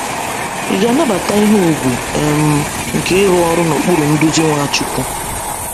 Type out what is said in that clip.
Ị ga-anabata ihe ùgwù um nke ịrụ ọrụ n’okpuru nduzi Nwachukwu?